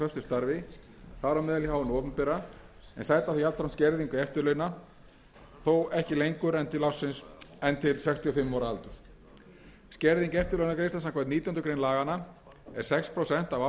þar á meðal hjá hinu opinbera en sæta þá jafnframt skerðingu eftirlaunanna þó ekki lengur en til sextíu og fimm ára aldurs skerðing eftirlaunagreiðslna samkvæmt nítjánda grein laganna er sex prósent af